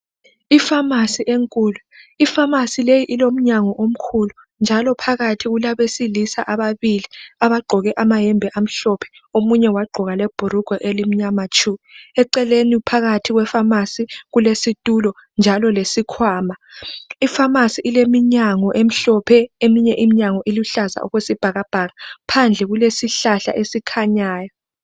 Ifamasi enkulu, ifamasi leyi ilomnyango omkhulu njalo phakathi kulabesilisa ababili abagqoke amayembe amahlophe omunye wagqoka lebhurugwa elimnyama tshu, ecelene phakathi kwefamasi kulesitulo njalo lesikhwama ifamasi ileminyango emhlophe eminye iminyango iluhlaza okwesibhakabhaka phandle kulesihlahla esikhanyayo.